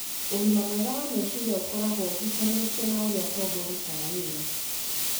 Ũgima mwega wa meciria ũkoragwo ũhutanĩtie na ũrĩa tombo ũrutaga wĩra,